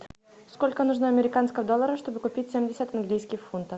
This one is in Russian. сколько нужно американских долларов чтобы купить семьдесят английских фунтов